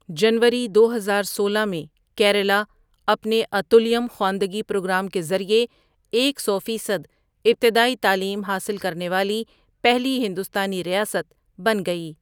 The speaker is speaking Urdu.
جنوری دو ہزار سولہ میں، کیرالہ اپنے اتُلیَم خواندگی پروگرام کے ذریعے ایک سو فیصد ابتدائی تعلیم حاصل کرنے والی پہلی ہندوستانی ریاست بن گئی۔